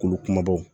Kolo kumabaw